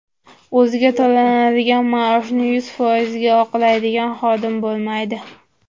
O‘ziga to‘lanadigan maoshni yuz foizga oqlaydigan xodim bo‘lmaydi.